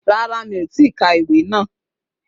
Rárá, mi ò tí ì ka ìwé náà